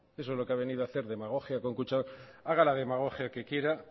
eso es lo que ha venido a hacer demagogia con kutxabank haga la demagogia que quiera